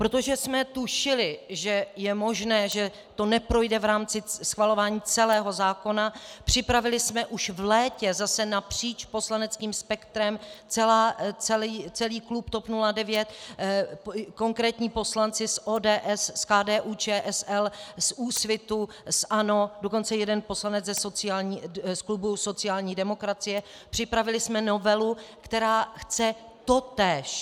Protože jsme tušili, že je možné, že to neprojde v rámci schvalování celého zákona, připravili jsme už v létě, zase napříč poslaneckým spektrem, celý klub TOP 09, konkrétní poslanci z ODS, z KDU-ČSL, z Úsvitu, z ANO, dokonce jeden poslanec z klubu sociální demokracie, připravili jsme novelu, která chce totéž.